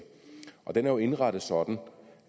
den er jo indrettet sådan